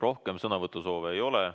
Rohkem sõnavõtusoove ei ole.